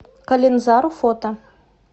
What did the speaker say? калинзару фото